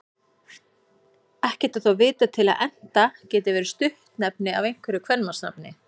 Ekki er þó vitað til að Enta geti verið stuttnefni af einhverju kvenmannsnafni.